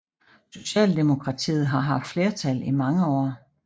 Socialdemokratiet har haft flertal i mange år